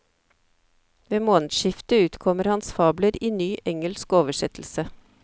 Ved månedsskiftet utkommer hans fabler i ny, engelsk oversettelse.